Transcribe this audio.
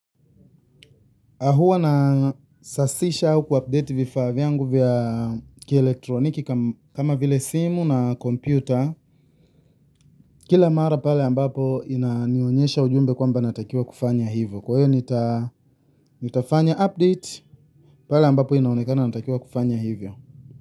Huwa na sasisha au ku update vifaa vyangu vya kielektroniki kama vile simu na kompyuta. Kila mara pale ambapo inanionyesha ujumbe kwamba natakiwa kufanya hivyo. Kwa hiyo nitafanya update pale ambapo inaonekana natakiwa kufanya hivyo.